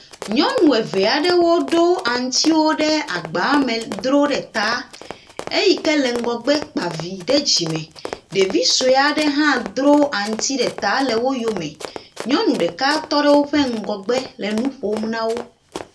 Nyɔnu eve aɖewo ɖo aŋutiwo ɖe agba me ɖro ta. Eyi ke le ŋgɔgbe kpa vi ɖe dzime. Ɖevi sue aɖe hã dro aŋuti ɖe ta le woyome. Nyɔnu ɖeka tɔ ɖe wo ŋgɔgbe le nu ƒom na wo.